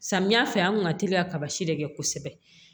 Samiya fɛ an kun ka teli ka kaba si de kɛ kosɛbɛ